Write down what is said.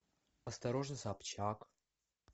осторожно собчак